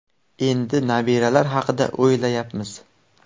Endi nabiralar haqida o‘ylayapmiz.